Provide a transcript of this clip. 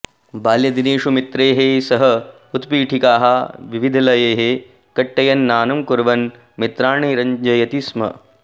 बाल्यदिनेषु मित्रैः सह उत्पीठिकाः विविधलयैः कुट्टयन् नानं कुर्वन् मित्राणि रञ्जयति स्म